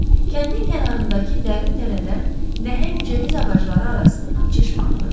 Kəndin kənarındakı dərin dərədən nəhəng cəviz ağacları arasından çeşmə axırdı.